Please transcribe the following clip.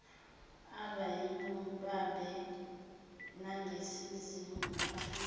abeyibambe ngaseningizimu aficwe